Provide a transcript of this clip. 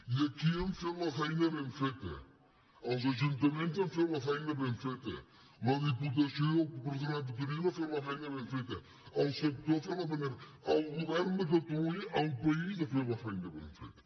i aquí hem fet la feina ben feta els ajuntaments han fet la feina ben feta la diputació i el patronat de turisme han fet la feina ben feta el sector ha fet la feina el govern de catalunya el país ha fet la feina ben feta